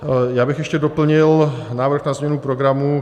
Já bych ještě doplnil návrh na změnu programu.